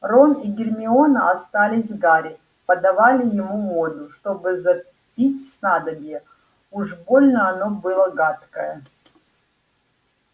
рон и гермиона остались с гарри подавали ему воду чтобы запить снадобье уж больно оно было гадкое